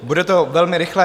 Bude to velmi rychlé.